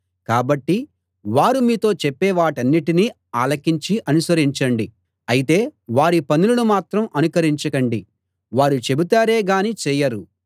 కాబట్టి వారు మీతో చెప్పేవాటినన్నిటినీ ఆలకించి అనుసరించండి అయితే వారి పనులను మాత్రం అనుకరించకండి వారు చెబుతారే గాని చేయరు